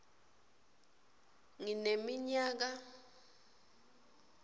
ngineminyaka